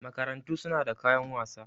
Makarantu su na da kayan wasa.